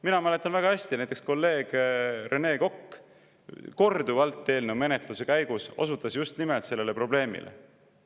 Mina mäletan väga hästi, et näiteks kolleeg Rene Kokk osutas eelnõu menetluse käigus korduvalt just nimelt sellele probleemile.